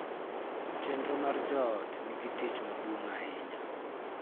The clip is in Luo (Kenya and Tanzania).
Chenro mar joot nigi tich maduong' ahinya